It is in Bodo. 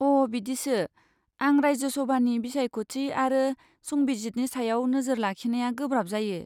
अ' बिदिसो। आं राज्यसभानि बिसायख'थि आरो संबिजितनि सायाव नोजोर लाखिनाया गोब्राब जायो।